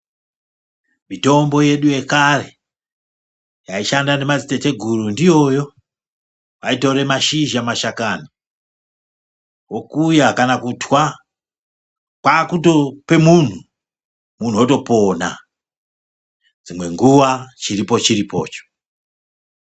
Mitombo yedu yekare yaishanda nemadziteteguru ndiyoyo vaitore mashizha mashakani vokuya kana kutwa kwakutope muntu, muntu otopona dzimwe nguwa chiripo chiripocho.